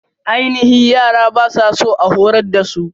Aininhi yara ba su so a horar dasu.